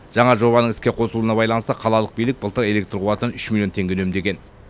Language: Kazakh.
жаңа жобаның іске қосылуына байланысты қалалық билік былтыр электр қуатын үш миллион теңге үнемдеген